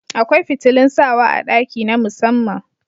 Akwai fitilun sawa a ɗaki na musamman